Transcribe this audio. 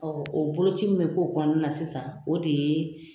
o boloci min bɛ kɛ o kɔnɔna na sisan, o de ye